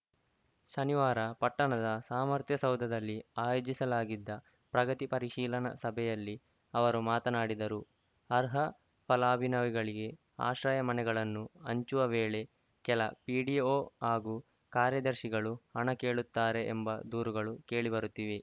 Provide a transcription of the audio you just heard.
ಶನಿವಾರ ಪಟ್ಟಣದ ಸಾಮರ್ಥ್ಯಸೌಧದಲ್ಲಿ ಆಯೋಜಿಸಲಾಗಿದ್ದ ಪ್ರಗತಿ ಪರಿಶೀಲನಾ ಸಭೆಯಲ್ಲಿ ಅವರು ಮಾತನಾಡಿದರು ಅರ್ಹ ಫಲಾಭಿನವಿಗಳಿಗೆ ಆಶ್ರಯ ಮನೆಗಳನ್ನು ಹಂಚುವ ವೇಳೆ ಕೆಲ ಪಿಡಿಒ ಹಾಗೂ ಕಾರ್ಯದರ್ಶಿಗಳು ಹಣ ಕೇಳುತ್ತಾರೆ ಎಂಬ ದೂರುಗಳು ಕೇಳಿಬರುತ್ತಿವೆ